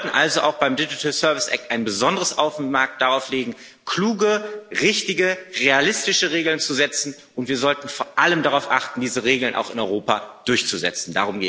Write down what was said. Wir sollten also auch beim Digital Service Act ein besonderes Augenmerk darauf legen, kluge, richtige, realistische Regeln zu setzen, und wir sollten vor allem darauf achten, diese Regeln auch in Europa durchzusetzen.